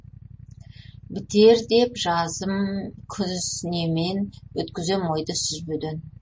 бітер деп жазым күз немен өткізем ойды сүзбеден